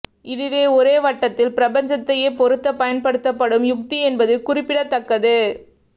இதுவே ஒரே வட்டத்தில் பிரபஞ்சத்தையே பொருத்த பயன்படுத்தப்படும் யுக்தி என்பது குறிப்பிடத்தக்கது